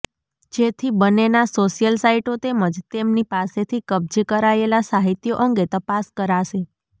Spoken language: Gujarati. જેથી બંન્નેના સોશ્યલ સાઈટો તેમજ તેમની પાસેથી કબજે કરાયેલા સાહિત્યો અંગે તપાસ કરાશે